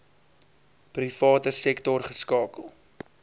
private sektor geskakel